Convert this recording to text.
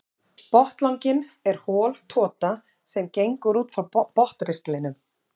Botnlanginn er hol tota sem gengur út frá botnristlinum.